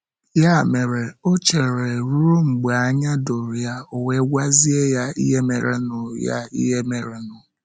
Ya mere, o cheere ruo mgbe anya doro ya, ọ wee gwazie ya ihe merenụ ya ihe merenụ.